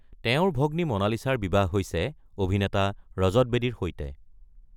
তেওঁৰ ভগ্নী মনালিছাৰ বিবাহ হৈছে অভিনেতা ৰজত বেদীৰ সৈতে।